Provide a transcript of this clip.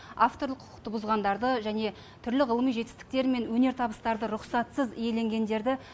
авторлық құқықты бұзғандарды және түрлі ғылыми жетістіктер мен өнертабыстарды рұқсатсыз иеленгендерді